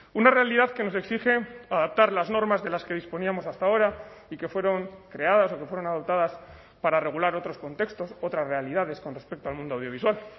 una realidad que nos exige adaptar las normas de las que disponíamos hasta ahora y que fueron creadas o que fueron adoptadas para regular otros contextos otras realidades con respecto al mundo audiovisual